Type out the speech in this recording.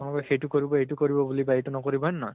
না লোকে সেইটো কৰিব, এইটো কৰিব বা এইটো নকৰিব, হয় নে নহয়?